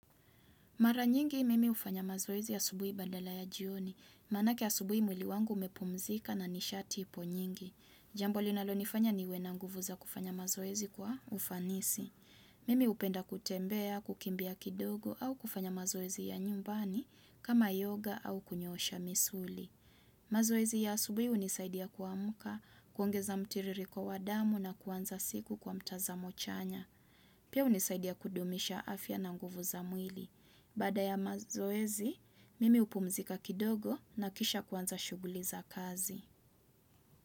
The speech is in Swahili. Mara nyingi, mimi hufanya mazoezi ya asubuhi badala ya jioni. Maanake asubuhi mwli wangu umepumzika na nishati ipo nyingi. Jambo linalonifanya niwe na nguvu za kufanya mazoezi kwa ufanisi. Mimi hupenda kutembea, kukimbia kidogo au kufanya mazoezi ya nyumbani kama yoga au kunyoosha misuli. Mazoezi ya asubuhi hunisaidia kuamka, kuongeza mtiririko wa damu na kuanza siku kwa mtazamo chanya. Pia hunisaidia kudumisha afya na nguvu za mwili. Baada ya mazoezi, mimi hupumzika kidogo na kisha kuanza shughuli za kazi.